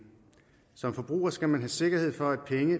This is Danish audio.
som forbruger skal man have sikkerhed for at penge